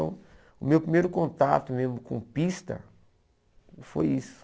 Então, o meu primeiro contato mesmo com pista foi isso.